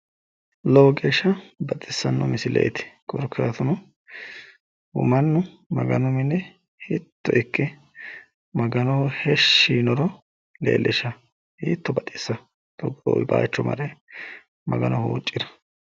Lowo geeshsha baxisanno misilete korkaatuno mannu maganu mine hiitto ikke maganoho heeshshi yiinoro leellisha hiitto baxissanno togoo baaycho mare magano huuccira.